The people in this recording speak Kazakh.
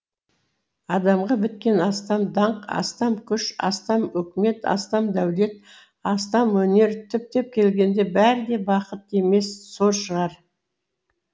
адамға біткен астам даңқ астам күш астам өкімет астам дәулет астам өнер түптеп келгенде бәрі де бақыт емес сор шығар